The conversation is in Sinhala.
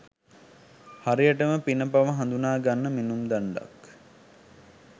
හරියටම පින පව හඳුනාගන්න මිනුම් දණ්ඩක්.